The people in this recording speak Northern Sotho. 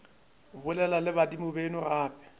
bolela le badimo beno gape